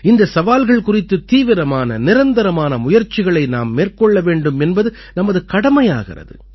இந்தச் சவால்கள் குறித்துத் தீவிரமான நிரந்தரமான முயற்சிகளை நாம் மேற்கொள்ள வேண்டும் என்பது நமது கடமையாகிறது